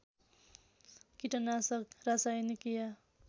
किटनाशक रासायनिक या